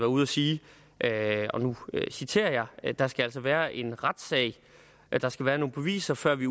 ude at sige og nu citerer jeg der skal altså være en retssag og der skal være nogle beviser før vi